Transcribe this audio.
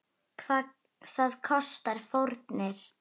Það kostar fórnir.